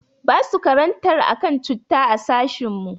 Basu karantar akan cutta a sashin mu.